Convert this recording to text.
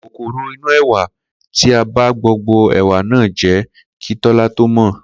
Kòkòrò inú è̩wà ti ba gbogbo è̩wà náà jé̩ kí Tó̩lá tó mò̩